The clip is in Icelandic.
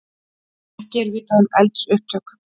Ekki er vitað um eldsupptök